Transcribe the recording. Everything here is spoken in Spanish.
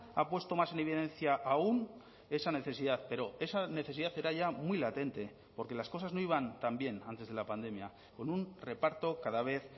ha puesto más en evidencia aún esa necesidad pero esa necesidad era ya muy latente porque las cosas no iban también antes de la pandemia con un reparto cada vez